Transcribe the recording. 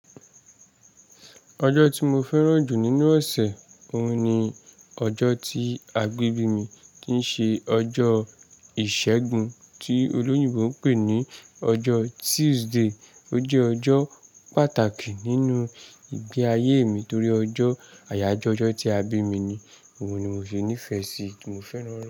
Ọjọ́ tí mo fẹ́ràn jù nínú ọ̀sẹ̀, òun ni ọjọ́ tí a gbé bí mi tí n ṣe ọjọ́ iṣẹ́gun tí olóyinbó n pè ní ọjọ́ Tuesday. Ó jẹ́ ọjọ́ pàtàkì nínú ìgbé ayé mi nítorí ọjọ́ àyájọ́ ọjọ́ tí àbí mi ni òun ni mo fi nífẹ̀ sí, mo fẹ́ran rẹ̀.